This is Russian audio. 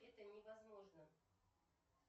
это невозможно